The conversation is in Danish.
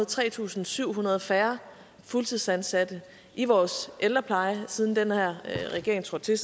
tre tusind syv hundrede færre fuldtidsansatte i vores ældrepleje siden den her regering trådte til